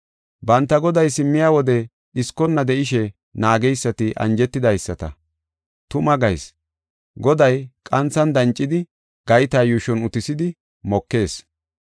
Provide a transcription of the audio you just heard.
Banta goday simmiya wode dhiskonna de7ishe naageysati anjetidaysata. Tuma gayis; goday qanthan dancidi gayta yuushon utisidi mokees.